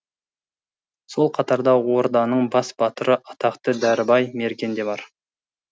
сол қатарда орданың бас батыры атақты дәрібай мерген де бар